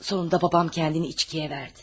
Sonunda babam kəndini içkiyə verdi.